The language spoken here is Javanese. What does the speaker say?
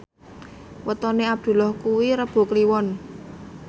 wetone Abdullah kuwi Rebo Kliwon